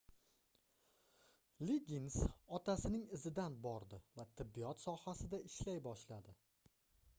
liggins otasining izidan bordi va tibbiyot sohasida ishlay boshladi